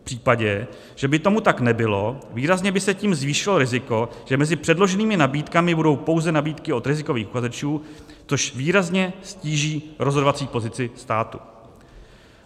V případě, že by tomu tak nebylo, výrazně by se tím zvýšilo riziko, že mezi předloženými nabídkami budou pouze nabídky od rizikových uchazečů, což výrazně ztíží rozhodovací pozici státu.